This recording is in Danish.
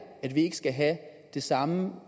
at vi ikke skal have det samme